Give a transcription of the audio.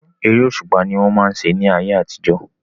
Eré òṣùpá ni wọ́n máa ń ṣe ní ayé àtijọ́.